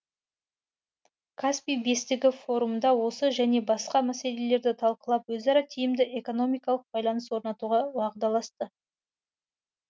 каспий бестігі форумда осы және басқа мәселелерді талқылап өзара тиімді экономикалық байланыс орнатуға уағдаласты